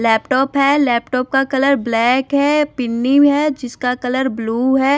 Laptop है laptop का colour black है पिन्नी है जिसका कलर ब्लू है।